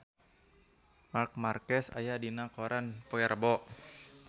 Marc Marquez aya dina koran poe Rebo